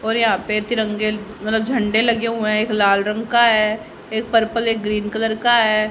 और यहां पे तिरंगे मतलब झंडे लगे हुए हैं एक लाल रंग का है एक पर्पल एक ग्रीन कलर का है।